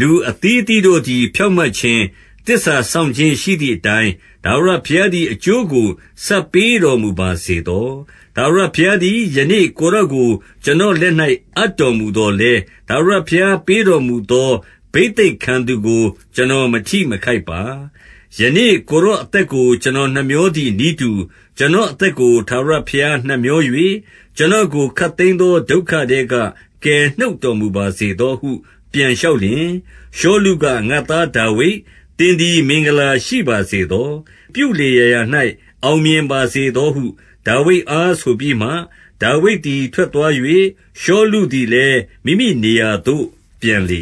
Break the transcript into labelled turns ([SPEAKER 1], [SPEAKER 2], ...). [SPEAKER 1] 23 လူအသီးအသီးတို့သည် ဖြောင့်မတ်ခြင်း၊ သစ္စာစောင့်ခြင်းရှိသည်အတိုင်း၊ ထာဝရဘုရားသည် အကျိုးကို ဆပ်ပေးတော်မူပါစေသော။ ထာဝရဘုရားသည် ယနေ့ ကိုယ်တော်ကို ကျွန်တော်လက်၌ အပ်တော်မူသော်လည်း ထာဝရဘုရားပေးတော်မူသော ဘိသိက်ခံသူကို ကျွန်တော်မထိခိုက်ပါ။ 24 ယနေ့ ကိုယ်တော်အသက်ကို ကျွန်တော် နှမြောသည် နည်းတူ ကျွန်တော်အသက်ကို ထာဝရဘုရားနှမြော၍ ကျွန်တော်ကို ခပ်သိမ်းသော ဒုက္ခထဲက ကယ်နှုတ်တော်မူပါစေသောဟု ပြန်လျှောက်လျှင်၊ 25 ရှောလုက၊ ငါ့သားဒါဝိဒ်၊ သင်သည် မင်္ဂလာရှိပါစေသော။ ပြုလေရာရာ၌ အောင်မြင်ပါစေသောဟု ဒါဝိဒ်အားဆိုပြီးမှ ဒါဝိဒ်သည် ထွက်သွား၍ ရှောလုသည်လည်း မိမိနေရာသို့ ပြန်လေ